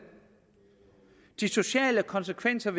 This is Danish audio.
de sociale konsekvenser